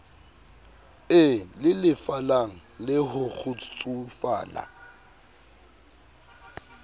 e lelefalang le ho kgutsufala